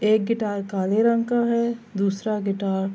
ایک گٹار کالے رنگ کا ہے دوسرا گٹار --